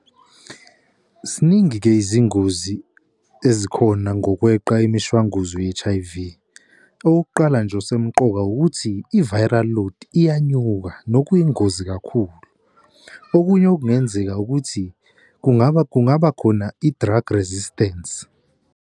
Ziningi-ke izingozi ezikhona ngokweqa imishwanguzo ye-H_I_V. Okokuqala nje ukusemqoka wukuthi i-viral load iyanyuka nokuyingozi kakhulu. Okunye okungenzeka ukuthi kungaba khona i-drug resistance.